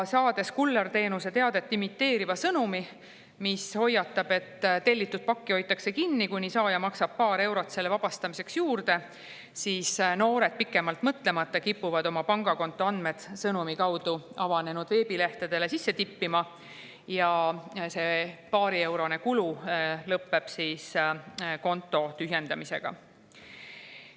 Saades kullerteenuse teadet imiteeriva sõnumi, mis hoiatab, et tellitud pakki hoitakse kinni, kuni saaja maksab paar eurot selle vabastamiseks juurde, kipuvad noored pikemalt mõtlemata oma pangakonto andmed sõnumi kaudu avanenud veebilehtedele sisse tippima ja see paarieurone kulu lõpeb konto tühjendamisega.